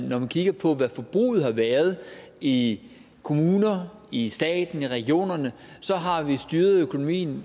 når man kigger på hvad forbruget har været i kommunerne i staten i regionerne så har vi styret økonomien